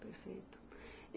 Perfeito. E